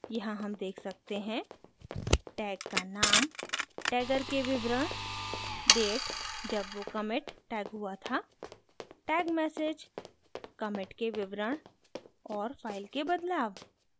यहाँ हम देख सकते हैं: